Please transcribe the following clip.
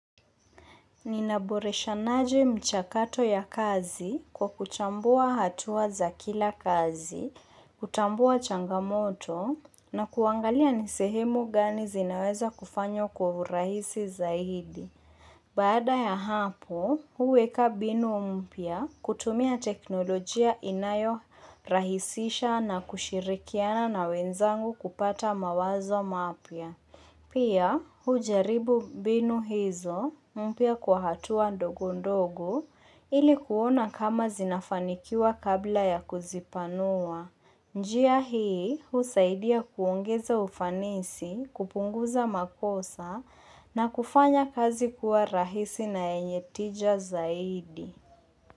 Ninaboresha naje mchakato ya kazi kwa kuchambua hatuwa za kila kazi, kutambua changamoto na kuangalia nisehemu gani zinaweza kufanywa kwa urahisi zaidi. Baada ya hapo, huweka mbinu mpya kutumia teknolojia inayo rahisisha na kushirikiana na wenzangu kupata mawazo mapya. Pia hujaribu mbinu hizo mpya kwa hatua ndogondogo ilikuona kama zinafanikiwa kabla ya kuzipanua. Njia hii husaidia kuongeza ufanisi, kupunguza makosa na kufanya kazi kuwa rahisi na yenyetija zaidi.